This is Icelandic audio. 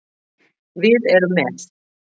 Við erum með